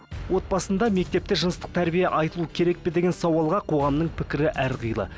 отбасында мектепте жыныстық тәрбие айтылуы керек пе деген сауалға қоғамның пікірі әрқилы